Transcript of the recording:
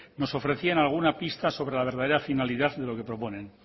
nos ofrecían alguna pista sobre la verdadera finalidad de lo que proponen